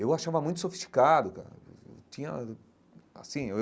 Eu o achava muito sofisticado, cara. Tinha assim eu.